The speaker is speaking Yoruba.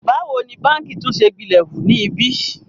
Báwo ni báǹkì tún ṣe gbilẹ̀ hu ni ibí?